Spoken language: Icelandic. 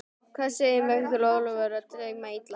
Hvað segiði, er Michael Oliver að dæma illa?